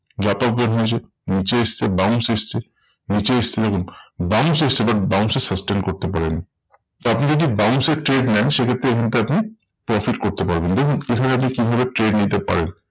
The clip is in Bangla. যত উপর হয়েছে নিচে এসেছে bounce এসেছে নিচে এসেছে দেখুন bounce এসেছে but bounce এ sustain করতে পারেনি। তা আপনি যদি bounce এ trade নেন সেক্ষেত্রে কিন্তু আপনি profit করতে পারবেন। দেখুন কোথাও যদি কিভাবে trade নিতে পারেন?